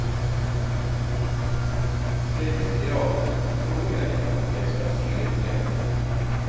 Det med teater tror jeg at jeg skal si litt mer om.